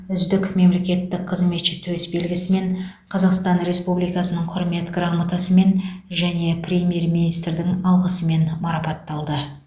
үздік мемлекеттік қызметші төсбелгісімен қазақстан республикасының құрмет грамотасымен және премьер министрдің алғысымен марапатталды